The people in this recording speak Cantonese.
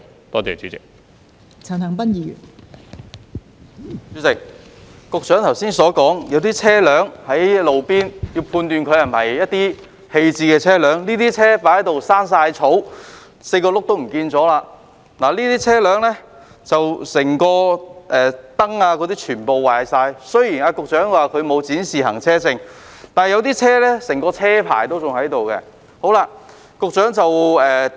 代理主席，局長剛才表示，需要判斷停泊在路邊的車輛是否棄置車輛，這些車輛已長滿草 ，4 個輪胎已不見，車頭燈已損毀，雖然局長指這些車輛沒有展示行車證，但有些車輛的車牌仍存在。